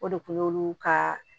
O de kun y'olu ka